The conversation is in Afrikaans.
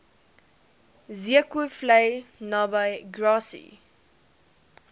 zeekoevlei naby grassy